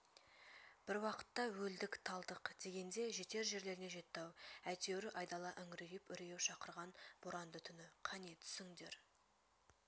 бір уақытта өлдік-талдық дегенде жетер жерлеріне жетті-ау әйтеуір айдала үңірейіп үрейі шақырған боранды түні қане түсіңдер